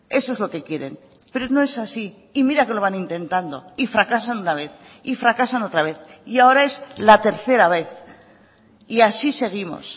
eso es lo que quieren pero no es así y mira que lo van intentando y fracasan una vez y fracasan otra vez y ahora es la tercera vez y así seguimos